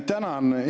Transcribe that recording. Tänan!